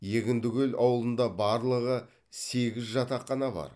егіндікөл ауылында барлығы сегіз жатақхана бар